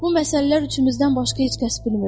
Bu məsələlər içimizdən başqa heç kəs bilmir.